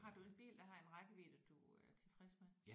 Har du en bil der har en rækkevidde du er tilfreds med?